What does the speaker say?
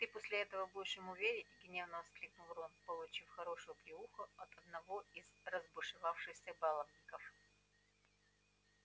ты после этого будешь ему верить гневно воскликнул рон получив хорошую оплеуху от одного из разбушевавшихся баловников